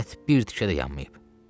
Ət bir tikə də yanmayıb.